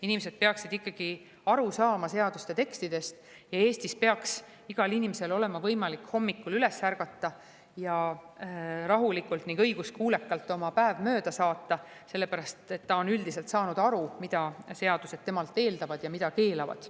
Inimesed peaksid seaduste tekstidest ikkagi aru saama ja Eestis peaks igal inimesel olema võimalik hommikul üles ärgata ning rahulikult ja õiguskuulekalt oma päev mööda saata – sellepärast, et ta on üldiselt saanud aru, mida seadused temalt eeldavad ja mida keelavad.